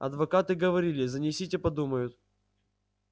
адвокаты говорили занесите подумают